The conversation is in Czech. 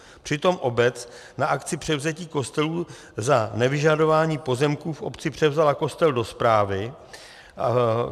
Přitom obec na akci převzetí kostelů za nevyžadování pozemků v obci převzala kostel do správy.